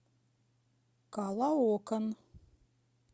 калоокан